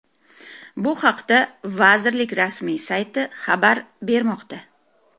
Bu haqda vazirlik rasmiy sayti xabar bermoqda .